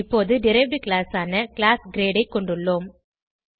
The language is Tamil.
இப்போது டெரைவ்ட் கிளாஸ் ஆன கிளாஸ் கிரேட் ஐ கொண்டுள்ளோம்